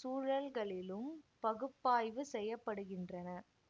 சூழல்களிலும் பகுப்பாய்வு செய்ய படுகின்றன